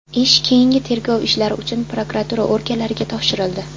Ish keyingi tergov ishlari uchun prokuratura organlariga topshirildi.